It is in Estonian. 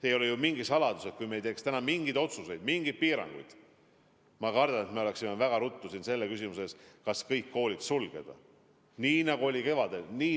Ei ole ju mingi saladus, et kui me ei teeks täna mingeid otsuseid, mingeid piiranguid, siis me kardetavasti oleksime väga ruttu selle küsimuse ees, kas kõik koolid tuleb sulgeda, nii nagu oli kevadel.